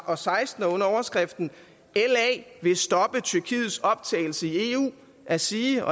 og seksten under overskriften la vil stoppe tyrkiets optagelse i eu at sige